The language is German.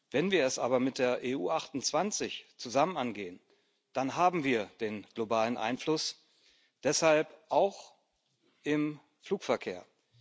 Wenn wir es aber mit der EU 28 zusammen angehen, dann haben wir den globalen Einfluss auch im Flugverkehr.